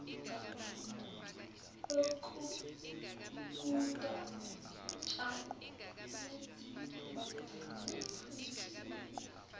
yokuguda utshani nezinjini